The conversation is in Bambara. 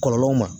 Kɔlɔlɔw ma